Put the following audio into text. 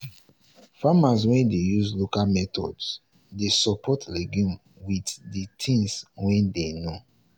farmers wey dey use local methods dey support legumes with the things wey dem know